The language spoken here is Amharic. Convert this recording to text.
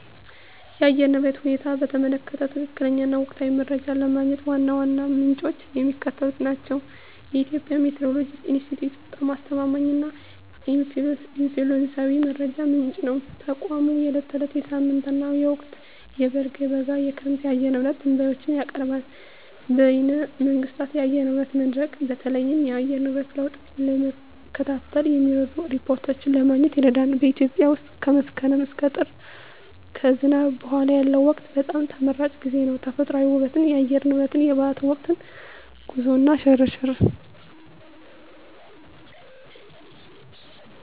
የአየር ንብረት ሁኔታን በተመለከተ ትክክለኛ እና ወቅታዊ መረጃ ለማግኘት ዋና ዋናዎቹ ምንጮች የሚከተሉት ናቸው -የኢትዮጵያ ሜትዎሮሎጂ ኢንስቲትዩት በጣም አስተማማኝ እና ኦፊሴላዊ መረጃ ምንጭ ነው። ተቋሙ የዕለት፣ የሳምንት እና የወቅታዊ (በልግ፣ በጋ፣ ክረምት) የአየር ንብረት ትንበያዎችን ያቀርባል። -በይነ መንግሥታት የአየር ንብረት መድረክ: በተለይም የአየር ንብረት ለውጥን ለመከታተል የሚረዱ ሪፖርቶችን ለማግኘት ይረዳል። -በኢትዮጵያ ውስጥ ከመስከረም እስከ ጥር (ከዝናብ በኋላ ያለው ወቅት) በጣም ተመራጭ ጊዜ ነው። -ተፈጥሮአዊ ውበት -የአየር ሁኔታ -የበዓላት ወቅት -ጉዞ እና ሽርሽር